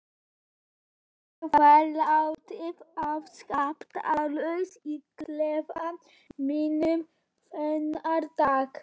Ég var látin afskiptalaus í klefa mínum þennan dag.